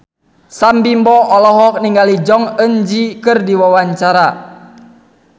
Sam Bimbo olohok ningali Jong Eun Ji keur diwawancara